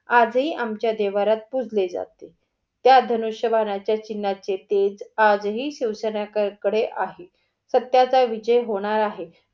आजही आमच्या देव्हाऱ्यात पुजले जाते. त्या धनुष्य बाणाच्या चिन्हाचे तेज आज ही शिवसेना कडे आहे. सत्याचा विजय होणार आहे.